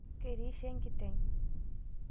Ketiishe nkiteng